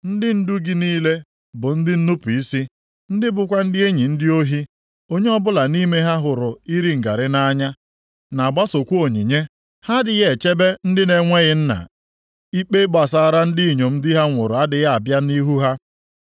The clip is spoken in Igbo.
Ndị ndu gị niile bụ ndị nnupu isi, ndị bụkwa ndị enyi ndị ohi, onye ọbụla nʼime ha hụrụ iri ngarị nʼanya, na-agbasokwa onyinye. Ha adịghị echebe ndị na-enweghị nna ikpe gbasara ndị inyom di ha nwụrụ adịghị abịa nʼihu ha.